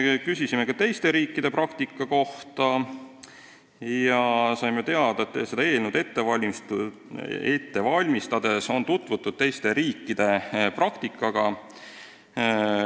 Küsisime ka teiste riikide praktika kohta ja saime teada, et seda eelnõu ette valmistades on tutvutud teiste riikide praktikaga.